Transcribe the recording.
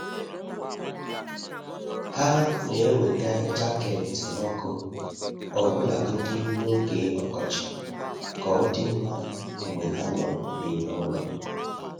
Há nà-èwétá jaket ọ́kụ́ ọbụ́lagodi n’ógè ọkọchị kà ọ́ dị́ mma mgbe há nọ́ n’ime ụ́lọ̀.